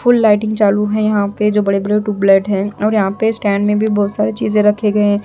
फूल lighting चालू है यहां पे जो बड़े बड़े ट्यूबलाइट हैं और यहां पे स्टैंड में भी बहुत सारे चीजें रखे गए--